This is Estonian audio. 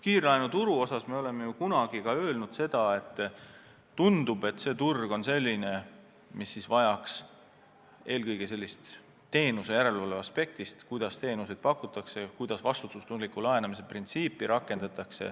Kiirlaenuturu kohta me oleme kunagi öelnud, et see turg tundub olevat selline, et vajaks uurimist eelkõige teenuse järelevalve aspektist: kuidas teenuseid pakutakse, kuidas vastutustundliku laenamise printsiipi rakendatakse.